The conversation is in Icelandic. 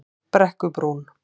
Brekkubrún